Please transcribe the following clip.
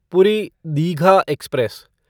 पूरी दीघा एक्सप्रेस